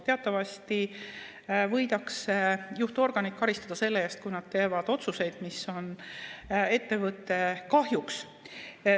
Teatavasti võidakse juhtorganit karistada selle eest, kui nad teevad otsuseid, mis on ettevõtte kahjuks.